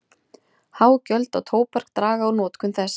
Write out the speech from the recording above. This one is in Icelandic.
Há gjöld á tóbak draga úr notkun þess.